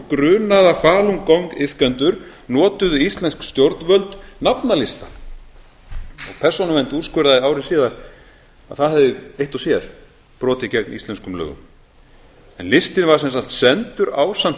grunaða falun gong iðkendur notuðu íslensk stjórnvöld nafnalista og persónuvernd úrskurðaði ári síðar að það hefði eitt og sér brotið gegn íslenskum lögum listinn var sem sagt sendur ásamt